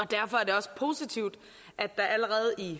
derfor er det også positivt at der allerede i